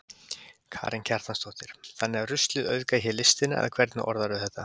Karen Kjartansdóttir: Þannig að ruslið auðgar hér listina eða hvernig orðarðu þetta?